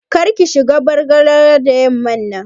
Kar ki shiga rawar Bargalar da yamman nan